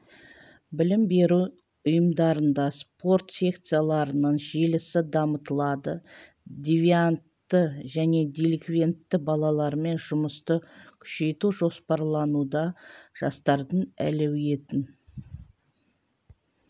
білім беру ұйымдарында спорт секцияларының желісі дамытылады девиантты және деликвентті балалармен жұмысты күшейту жоспарлануда жастардың әлеуетін